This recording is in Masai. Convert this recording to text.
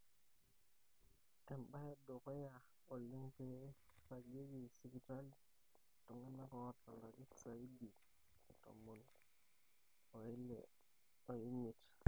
embae edukuya oleng pee iragieki sipitali iltungana oata ilarin saidi e tomoni ile omiet.